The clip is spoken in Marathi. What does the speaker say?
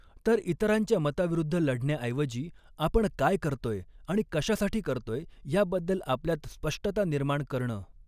तर इतरांच्या मताविरुद्ध लढण्याऎवजी आपण काय करतोय आणि कशासाठी करतोय याबद्दल आपल्यात स्पष्टता निर्माण करणं.